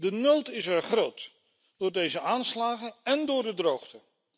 De nood is er groot door deze aanslagen en door de droogte.